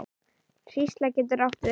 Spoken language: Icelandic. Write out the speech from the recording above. Hrísla getur átt við